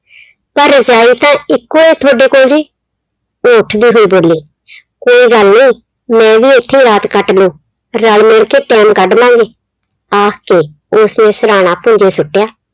ਪਰ ਰਜਾਈ ਤਾਂ ਇੱਕੋ ਆ ਥੋਡੇ ਕੋਲ ਵੀ ਉਹ ਉੱਠ ਕੇ ਫਿਰ ਬੋਲੀ, ਕੋਈ ਗੱਲ ਨੀ ਮੈਂ ਵੀ ਇੱਥੇ ਰਾਤ ਕੱਟ ਲੂੰ ਰਲ ਮਿਲ ਕੇ time ਕੱਢ ਲਾਂਗੇ, ਆਖ ਕੇ ਉਸਨੇ ਸਿਰਹਾਣਾ ਭੁੰਜੇ ਸੁੱਟਿਆ।